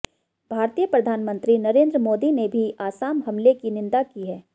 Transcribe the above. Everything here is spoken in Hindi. भारतीय प्रधानमंत्री नरेन्द्र मोदी ने भी आसाम हमले की निंदा की है